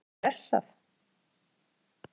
Var fólk stressað?